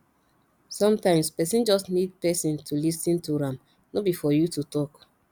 sometimes person just need person to lis ten to am no be for you to talk